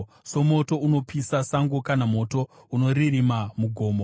Somoto unopisa sango kana moto unoririma mugomo,